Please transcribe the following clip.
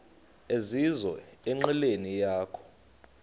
ezizizo enqileni yakho